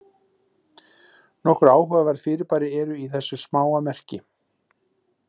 Nokkur áhugaverð fyrirbæri eru í þessu smáa merki.